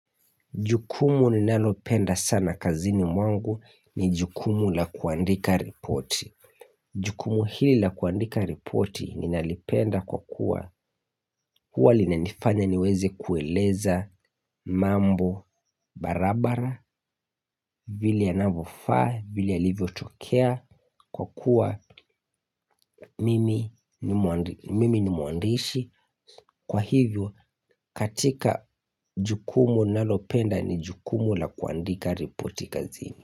Jukumu ninalopenda sana kazini mwangu ni jukumu la kuandika ripoti. Jukumu hili la kuandika ripoti ni nalipenda kwa kuwa huwa lina nifanya niweze kueleza mambo barabara vile yanavyofaa vile yalivyotokea kwa kuwa mimi ni mwandishi kwa hivyo katika jukumu ninalopenda ni jukumu la kuandika ripoti kazini.